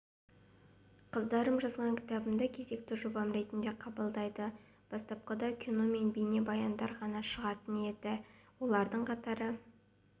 қыздарым жазған кітабымды кезекті жобам ретінде қабылдайды бастапқыда кино мен бейнебаяндар ғана шығатын енді олардың қатары